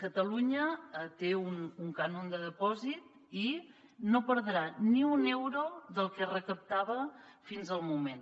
catalunya té un cànon de dipòsit i no perdrà ni un euro del que es recaptava fins al moment